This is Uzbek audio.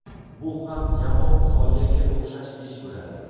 Bu ham yamoq solganga o‘xshash ish bo‘ladi.